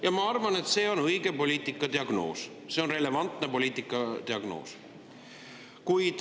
Ja ma arvan, et see on õige poliitika diagnoos, see on relevantne poliitika diagnoos.